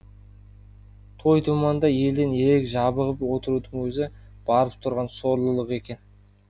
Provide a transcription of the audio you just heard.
той думанда елден ерек жабығып отырудың өзі барып тұрған сорлылық екен